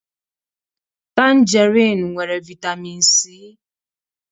Tanjerịn nwere vitamịn Si.